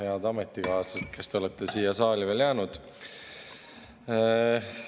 Head ametikaaslased, kes te olete siia saali veel jäänud!